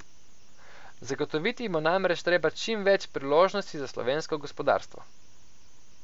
Zagotoviti bo namreč treba čim več priložnosti za slovensko gospodarstvo.